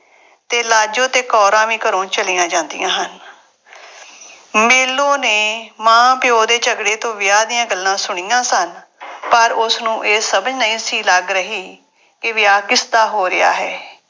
ਤੇ ਲਾਜੋ ਤੇ ਕੌਰਾਂ ਵੀ ਘਰੋਂ ਚਲੀਆਂ ਜਾਂਦੀਆਂ ਹਨ। ਮੇਲੋਂ ਨੇ ਮਾਂ-ਪਿਉ ਦੇ ਝਗੜੇ ਤੋਂ ਵਿਆਹ ਦੀਆਂ ਗੱਲਾਂ ਸੁਣੀਆਂ ਸਨ ਪਰ ਉਸਨੂੰ ਇਹ ਸਮਝ ਨਹੀਂ ਸੀ ਲੱਗ ਰਹੀ ਕਿ ਵਿਆਹ ਕਿਸਦਾ ਹੋ ਰਿਹਾ ਹੈ।